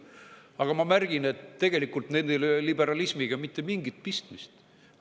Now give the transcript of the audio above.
Aga ma märgin, et tegelikult ei ole nendel liberalismiga mitte mingit pistmist.